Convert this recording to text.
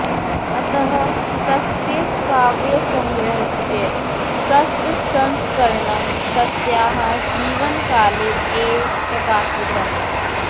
अतः तस्य काव्यसङ्ग्रहस्य षष्ठसंस्करणं तस्याः जीवनकाले एव प्रकाशितम्